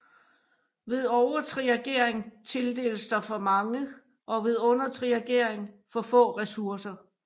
Ved overtriagering tildeles der for mange og ved undertriagering for få ressourcer